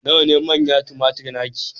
nawa ne manna tumatir naki